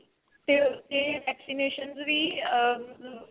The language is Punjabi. ਤੇ ਤੇ vaccination ਵੀ ah